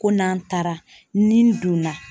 Ko n'an taara, ni n donna